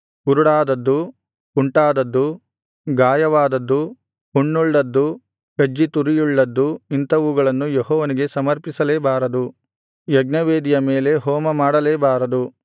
ಕುರುಡಾದದ್ದು ಕುಂಟಾದದ್ದು ಗಾಯವಾದದ್ದು ಹುಣ್ಣುಳ್ಳದ್ದು ಕಜ್ಜಿ ತುರಿಯುಳ್ಳದ್ದು ಇಂಥವುಗಳನ್ನು ಯೆಹೋವನಿಗೆ ಸಮರ್ಪಿಸಲೇಬಾರದು ಯಜ್ಞವೇದಿಯ ಮೇಲೆ ಹೋಮ ಮಾಡಲೇಬಾರದು